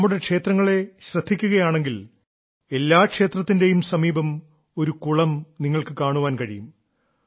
നമ്മുടെ ക്ഷേത്രങ്ങളെ ശ്രദ്ധിക്കുകയാണെങ്കിൽ എല്ലാ ക്ഷേത്രത്തിന്റെയും സമീപം ഒരു കുളം നിങ്ങൾക്ക് കാണാൻ കഴിയും